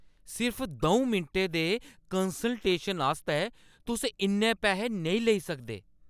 सिर्फ दऊं मिंटें दे कंसलटेशन आस्तै तुस इन्ने पैसे नेईं लेई सकदे!